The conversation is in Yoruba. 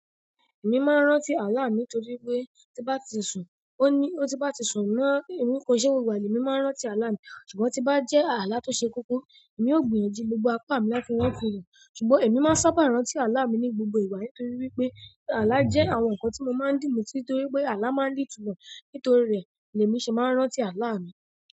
Èmi máa ń rántí àlá mí nítorí pé tí n bá ti sùn, ó ní, ó tí bá ti sùn mọ́, èmi kò ṣe gbogbo ìgbà, ni èmi máa ń rántí àlá mi. Ṣùgbọ́n tí bá jẹ́ àlá tó ṣe kókó, èmi ó gbìyànjú gbogbo apá mi láti wá ìtúmọ ẹ̀. Ṣùgbọ́n èmi máa ń sábà rántí àlá mi ní gbogbo ìgbà nítorí wípé àlá jẹ́ àwọn ǹkan tí mo máa ń dì mú títí torí pé àlá má ń nì ìtumọ̀. Nítorí rẹ̀ ni èmi ṣe máa ń rántí àlá mi.